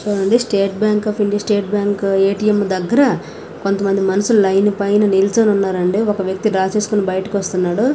చుడండి state bank of India state bank ATM దెగరా కొంత మంది మనుషులు లైన్ పైన నుర్చొని ఉన్నారు అండి. ఒక వ్యక్తి డ్రా చేసుకొని బయటకి వస్తున్నాడు.